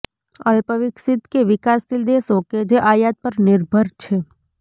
અલ્પ વિકસિત કે વિકાસશીલ દેશો કે જે આયાત પર નિર્ભર છે